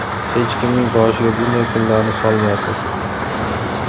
Hech kimning boshiga bunday kunlarni solmasin.